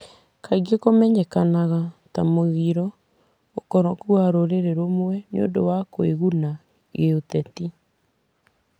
Kaingĩ kũmenyekaga ta mũgiro, ũkoroku wa rũrĩrĩ rũmwe nĩ ũndũ wa kũiguna giũteti,